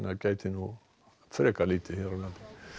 gæti lítið hér á landi